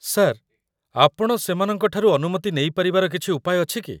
Sir, ଆପଣ ସେମାନଙ୍କଠାରୁ ଅନୁମତି ନେଇପାରିବାର କିଛି ଉପାୟ ଅଛି କି?